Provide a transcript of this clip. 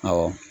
Awɔ